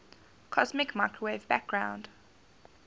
cosmic microwave background